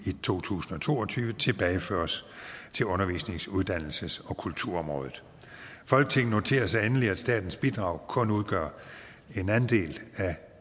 to tusind og to og tyve tilbageføres til undervisnings uddannelses og kulturområdet folketinget noterer sig endelig at statens bidrag kun udgør en andel af